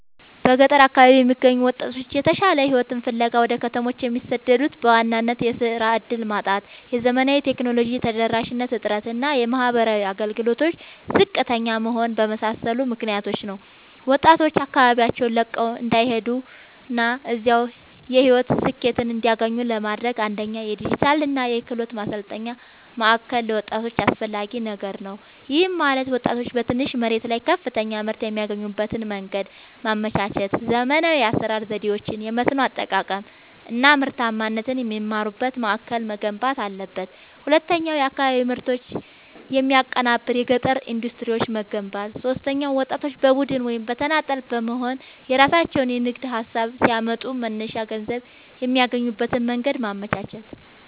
በገጠር አካባቢዎች የሚገኙ ወጣቶች የተሻለ ሕይወትን ፍለጋ ወደ ከተሞች የሚሰደዱት በዋናነት የሥራ ዕድል ማጣት፣ የዘመናዊ ቴክኖሎጂ ተደራሽነት እጥረት እና የማኅበራዊ አገልግሎቶች ዝቅተኛ መሆን በመሳሰሉ ምክኒያቶች ነው። ወጣቶች አካባቢያቸውን ለቀው እንዳይሄዱና እዚያው የሕይወት ስኬትን እንዲያገኙ ለማድረግ፣ አንደኛ የዲጂታልና የክህሎት ማሠልጠኛ ማእከል ለወጣቶች አስፈላጊ ነገር ነው። ይህም ማለት ወጣቶች በትንሽ መሬት ላይ ከፍተኛ ምርት የሚያገኙበትን መንገድ ማመቻቸት፣ ዘመናዊ የአሠራር ዘዴዎችን፣ የመስኖ አጠቃቀም አናምርታማነትን የሚማሩበት ማእከል መገንባት አለበት። ሁለተኛው የአካባቢ ምርቶችን የሚያቀናብር የገጠር ኢንዱስትሪዎችን መገንባት። ሦስተኛው ወጣቶች በቡድን ወይም በተናጠል በመሆንየራሣቸውን የንግድ ሀሳብ ሲያመጡ መነሻ ገንዘብ የሚያገኙበትን መንገድ ማመቻቸት።